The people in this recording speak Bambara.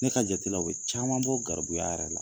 Ne ka jateminɛ la caman bɛ bɔ garibuya yɛrɛ la.